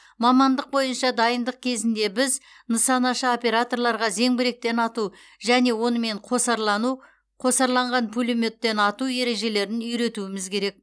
мамандық бойынша дайындық кезінде біз нысанашы операторларға зеңбіректен ату және онымен қосарлану қосарланған пулеметтен ату ережелерін үйретуіміз керек